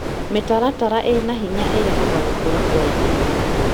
Mĩtaratara ĩna hinya ĩrehaga gũkũra kwa ihinda.